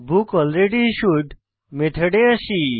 বুকলরেডিস্যুড মেথডে আসি